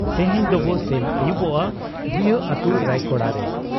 ᱛᱮᱦᱮᱧ ᱫᱚᱵᱚ ᱥᱮᱱ ᱟᱹᱭᱩᱵᱚᱜ ᱟ ᱵᱷᱩᱭᱟᱺ ᱟᱹᱛᱩ ᱨᱟᱭᱠᱚᱲᱟᱨᱮ ᱾